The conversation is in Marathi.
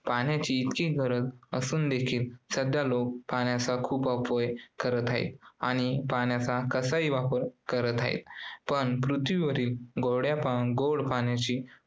पाण्याची इतकी गरज असून देखील सध्या लोक पाण्याचा खूप अपव्यय करत आहेत आणि पाण्याचा कसाही वापर करत आहेत पण पृथ्वीवरील गोड्या पाण्या~ गोड पाण्याची